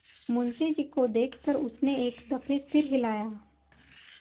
मुंशी जी को देख कर उसने एक दफे सिर हिलाया